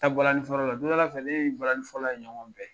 Ta bɔlanin fɔ yɔrɔ la, don nɔ la fɛ, ne ni bɔlanin fɔlɔla ye ɲɔgɔn bɛn